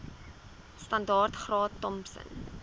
standaard graad thompson